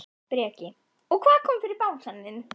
Breki: Og hvað kom fyrir bangsann þinn?